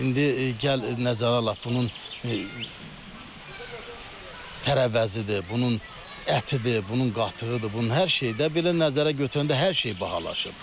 İndi gəl nəzərə alaq, bunun tərəvəzidir, bunun ətidir, bunun qatığıdır, bunun hər şey də belə nəzərə götürəndə hər şey bahalaşıb.